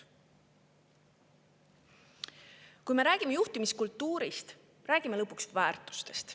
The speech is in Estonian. Kui me räägime juhtimiskultuurist, siis me räägime lõpuks väärtustest.